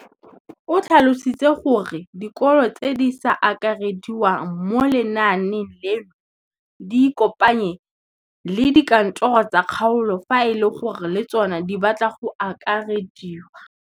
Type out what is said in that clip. O tlhalositse gore dikolo tse di sa akarediwang mo lenaaneng leno di ikopanye le dikantoro tsa kgaolo fa e le gore le tsona di batla go akarediwa.